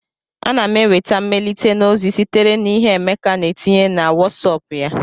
Ana m enweta mmelite na ozi sitere na ihe Emeka na etinye na Wosop ya